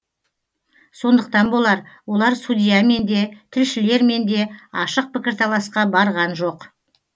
сондықтан болар олар судьямен де тілшілермен де ашық пікірталасқа барған жоқ